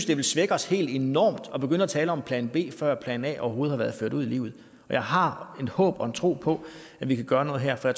det vil svække os helt enormt at begynde at tale om plan b før plan a overhovedet har været ført ud i livet jeg har et håb om og en tro på at vi kan gøre noget her for